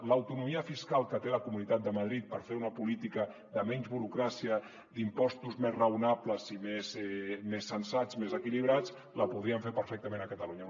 l’autonomia fiscal que té la comunitat de madrid per fer una política de menys burocràcia d’impostos més raonables i més sensats més equilibrats la podrien fer perfectament a catalunya